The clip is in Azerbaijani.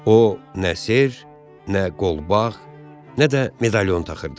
O nə sırğa, nə qolbaq, nə də medalion taxırdı.